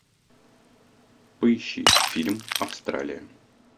поищи фильм австралия